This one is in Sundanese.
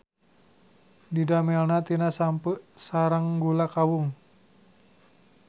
Didamelna tina sampeu sareng gula kawung.